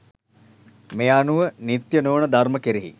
මේ අනුව නිත්‍ය නොවන ධර්ම කෙරෙහි